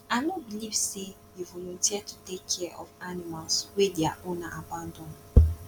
i no beliv sey you volunteer to dey take care of animals wey their owner abandon